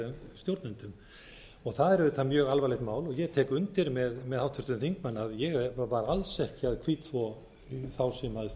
stjórnendum það er auðvitað mjög alvarlegt mál og ég tek undir með háttvirtum þingmanni að ég var alls ekki að hvítþvo þá sem fyrri bönkum